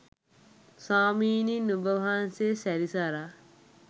ස්වාමිනි! නුඹ වහන්සේ සැරිසරා